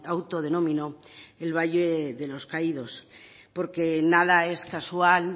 autodenominó el valle de los caídos porque nada es casual